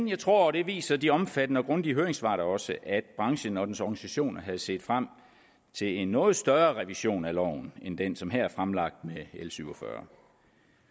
jeg tror og det viser de omfattende og grundige høringssvar da også at branchen og dens organisationer havde set frem til en noget større revision af loven end den som her er fremlagt med l syv og fyrre